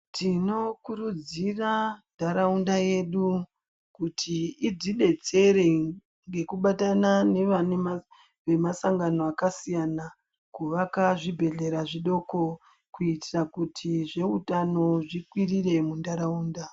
Tino kurudzira ndaraunda yedu kuti idzi detsere ngeku batana nevane ma sangano aka siyana kuvaka zvibhedhlera zvidoko kuitira kuti zve utano zvikwirire mu ndaraunda.